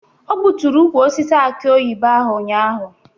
O gbutụrụ ukwu osisi akị oyibo ahụ ụnyaahụ.